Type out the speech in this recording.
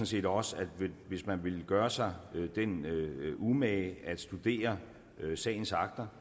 set også at hvis man ville gøre sig den umage at studere sagens akter